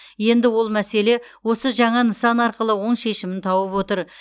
енді ол мәселе осы жаңа нысан арқылы оң шешімін тауып отыр